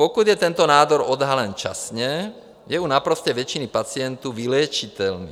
Pokud je tento nádor odhalen časně, je u naprosté většiny pacientů vyléčitelný.